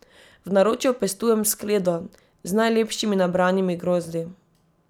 V naročju pestujem skledo z najlepšimi nabranimi grozdi.